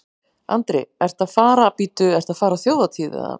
Andri: Ertu að fara, bíddu, ertu að fara á þjóðhátíð eða?